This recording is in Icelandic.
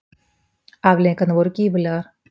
Afleiðingarnar voru gífurlegar.